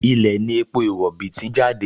Ilẹ̀ ní epo rọ̀bì ti ń jáde